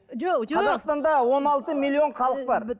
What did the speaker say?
жоқ қазақстанда он алты миллион халық бар